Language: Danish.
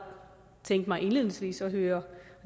tænke mig indledningsvis at høre